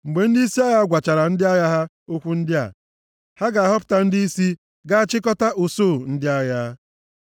Mgbe ndịisi agha gwachara ndị agha ha okwu ndị a, ha ga-ahọpụta ndịisi ga-achịkọta usuu ndị agha.